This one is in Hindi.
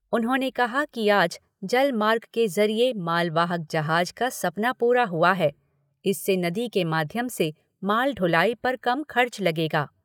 उन्होंने कहा कि आज जल मार्ग के ज़रिये माल वाहक जहाज का सपना पूरा हुआ है, इससे नदी के माध्यम से माल ढुलाई पर कम खर्च लगेगा।